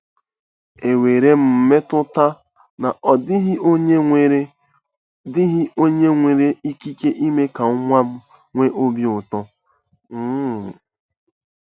Enwere m mmetụta na ọ dịghị onye nwere dịghị onye nwere ikike ime ka nwa m nwee obi ụtọ! um ”